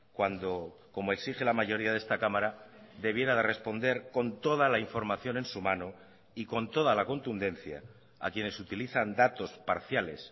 cuando como exige la mayoría de esta cámara debiera de responder con toda la información en su mano y con toda la contundencia a quienes utilizan datos parciales